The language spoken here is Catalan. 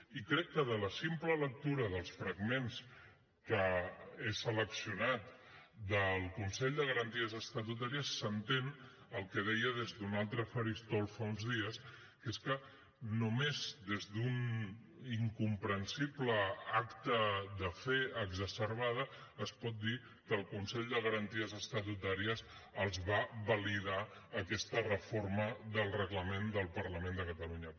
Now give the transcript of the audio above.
i crec que de la simple lectura dels fragments que he seleccionat del consell de garanties estatutàries s’entén el que deia des d’un altre faristol fa uns dies que és que només des d’un incomprensible acte de fe exacerbada es pot dir que el consell de garanties estatutàries els va validar aquesta reforma del reglament del parlament de catalunya